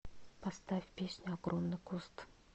поставь песню огромный куст